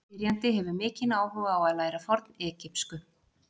Spyrjandi hefur mikinn áhuga á að læra fornegypsku.